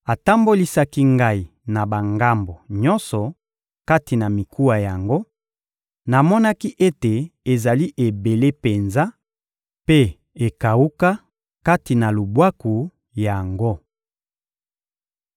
Atambolisaki ngai na bangambo nyonso kati na mikuwa yango: namonaki ete ezali ebele penza mpe ekawuka, kati na lubwaku yango.